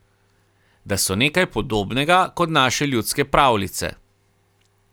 Da so nekaj podobnega kot naše ljudske pravljice.